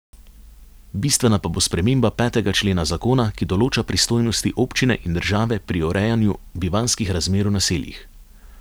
Bistvena pa bo sprememba petega člena zakona, ki določa pristojnosti občine in države pri urejanju bivanjskih razmer v naseljih.